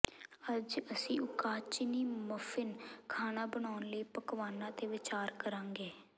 ਅੱਜ ਅਸੀਂ zucchini muffin ਖਾਣਾ ਬਨਾਉਣ ਲਈ ਪਕਵਾਨਾਂ ਤੇ ਵਿਚਾਰ ਕਰਾਂਗੇ